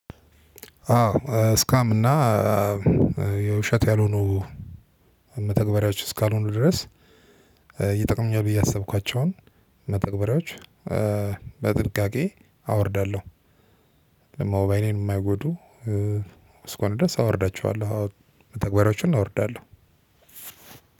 አዎ ስካም እና የውሸት ያልሆኑ መተግበሪያዎች እስካልሆኑ ድረስ ይጠቅምኛል ብዬ ያሰብኳቸውን መተግበሪያዎች በጥንቃቄ አወርዳለሁ። ለሞባይኔን የማይጎዱ እስከሆኑ ድረስ አወርዳቸዋለሁ መተግበሪያዎችን አወርዳለሁ።